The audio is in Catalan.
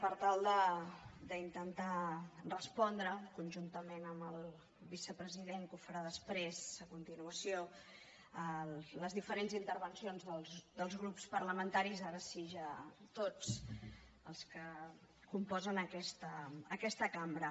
per tal d’intentar respondre conjuntament amb el vicepresident que ho farà després a continuació les diferents intervencions dels grups parlamentaris ara sí ja tots els que componen aquesta cambra